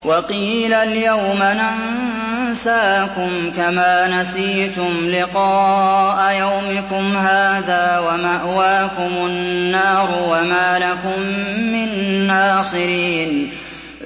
وَقِيلَ الْيَوْمَ نَنسَاكُمْ كَمَا نَسِيتُمْ لِقَاءَ يَوْمِكُمْ هَٰذَا وَمَأْوَاكُمُ النَّارُ وَمَا لَكُم مِّن نَّاصِرِينَ